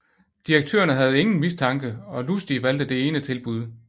Direktørerne havde ingen mistanke og Lustig valgte det ene tilbud